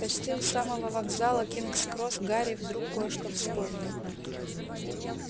почти у самого вокзала кингс-кросс гарри вдруг кое-что вспомнил